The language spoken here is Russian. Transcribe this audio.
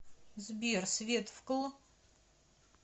сбер свет вкл